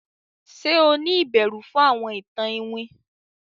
Ṣe o ni ìbẹrù fún àwọn ìtàn iwin?